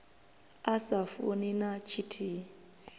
a sa funi na tshithihi